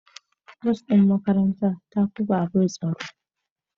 Bas din makaranta ya fi babur tsaro.